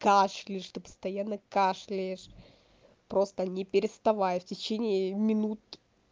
кашляешь что постоянно кашляешь просто не переставая в течение минут